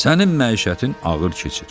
Sənin məişətin ağır keçir.